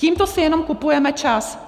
Tímto si jenom kupujeme čas.